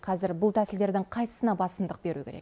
қазір бұл тәсілдердің қайсысына басымдық беру керек